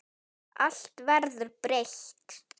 Allt verður breytt.